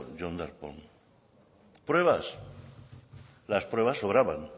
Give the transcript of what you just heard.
jon darpón pruebas las pruebas sobraban